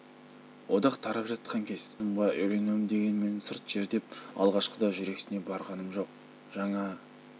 одақ тарап жатқан кез жаңа ұжымға үйренуім дегенмен сырт жер деп алғашқыда жүрексіне барғанмын жоқ жаңа